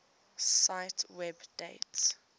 cite web date